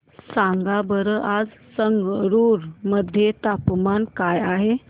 सांगा बरं आज संगरुर मध्ये तापमान काय आहे